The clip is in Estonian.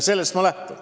Sellest ma lähtun.